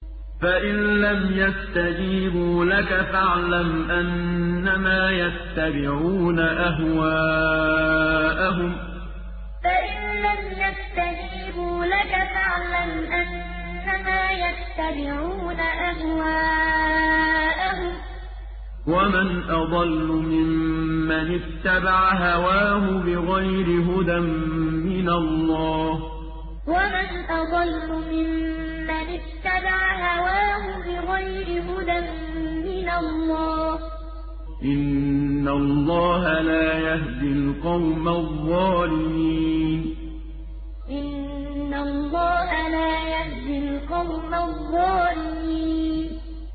فَإِن لَّمْ يَسْتَجِيبُوا لَكَ فَاعْلَمْ أَنَّمَا يَتَّبِعُونَ أَهْوَاءَهُمْ ۚ وَمَنْ أَضَلُّ مِمَّنِ اتَّبَعَ هَوَاهُ بِغَيْرِ هُدًى مِّنَ اللَّهِ ۚ إِنَّ اللَّهَ لَا يَهْدِي الْقَوْمَ الظَّالِمِينَ فَإِن لَّمْ يَسْتَجِيبُوا لَكَ فَاعْلَمْ أَنَّمَا يَتَّبِعُونَ أَهْوَاءَهُمْ ۚ وَمَنْ أَضَلُّ مِمَّنِ اتَّبَعَ هَوَاهُ بِغَيْرِ هُدًى مِّنَ اللَّهِ ۚ إِنَّ اللَّهَ لَا يَهْدِي الْقَوْمَ الظَّالِمِينَ